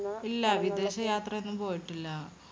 ഇല്ല. വിദേശ യാത്രയൊന്നും പോയിട്ടില്ല.